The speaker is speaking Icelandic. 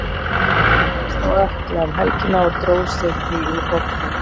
Hann meiddist á ökkla um helgina og dró sig því úr hópnum.